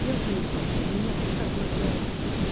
я заебалась у меня так лагает